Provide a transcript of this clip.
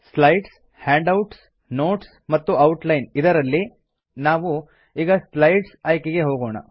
slides handouts notes ಮತ್ತು outline ಇದರಲ್ಲಿ ನಾವು ಈಗ ಸ್ಲೈಡ್ಸ್ ಆಯ್ಕೆಗೆ ಹೋಗೋಣ